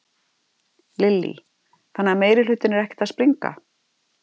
Lillý: Þannig að meirihlutinn er ekkert að springa?